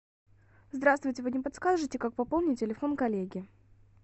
здравствуйте вы не подскажите как пополнить телефон коллеге